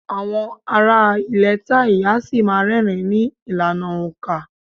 Àwọn ará ilẹ̀ Thai a ṣì má́a rẹ́rìn-ín ní ìlànà òǹkà.